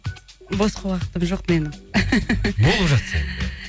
босқа уақытым жоқ менің болып жатса енді